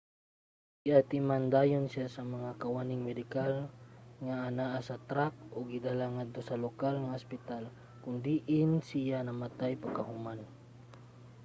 giatiman dayon siya sa mga kawaning medikal nga anaa sa track ug gidala ngadto sa lokal nga ospital kon diin siya namatay pagkahuman